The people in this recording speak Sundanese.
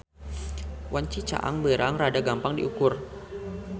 Wanci caang beurang rada gampang diukur.